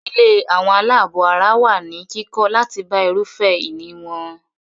Ilé àwọn àlábọ̀ ara wà ní kíkọ́ láti bá irúfẹ́ ìní wọn.